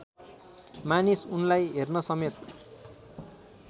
मानिस उनलाई हेर्नसमेत